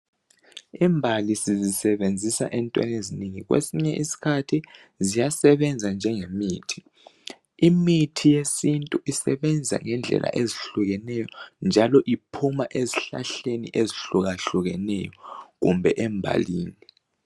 Imbali sizisebenzisa entweni ezinengi kwesinye isikhathi ziyasebenza njengemithi imithi yesintu isebenza ngendlela ezihlukeneyo njalo iphuma ezihlahleni ezihlukahlukeneyo kumbe embalini.